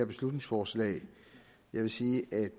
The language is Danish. beslutningsforslag jeg vil sige at